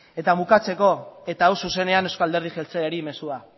eta bukatzeko eta hau zuzenean eusko alderdi jeltzaleari mezua